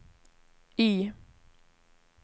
Y